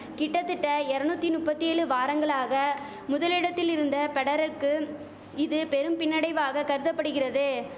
கிட்டதிட்ட எரநுத்தி நுப்பத்தி ஏழு வாரங்களாக முதலிடத்தில் இருந்த பெடரருக்கு இது பெரும் பின்னடைவாக கருதபடுகிறது